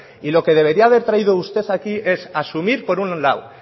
y lo que debería haber traído usted aquí es asumir por un lado